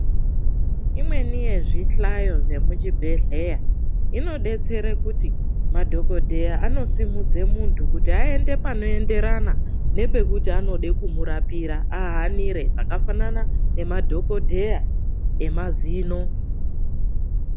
Imweni yezvihlayo zvemuchibhedhlera inodetsera kuti madhokodheya anosimudze munthu kuti aende panoenderana nepekuti anode kumurapira ahanira zvakafanana nemadhokodheya emazino